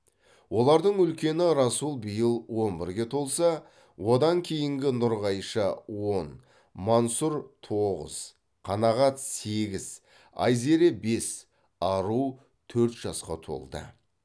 олардың үлкені расул биыл он бірге толса одан кейінгі нұрғайша он мансұр тоғыз қанағат сегіз айзере бес ару төрт жасқа толды